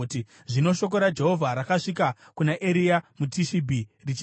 Zvino shoko raJehovha rakasvika kuna Eria muTishibhi richiti,